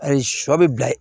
Ayi sɔ bɛ bila ye